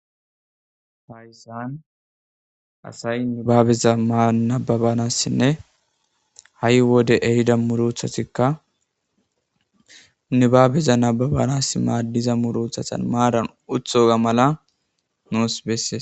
faysaan asay nibaabeza manababanassinne ha7i wode ehida muruthatikka nibaabeza nababanas maaddiza murothatan maadan uthoga mala noos besses